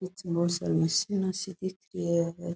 मशीना सी दिखरी है।